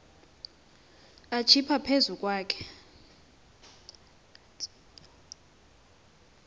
atsiba phezu kwakhe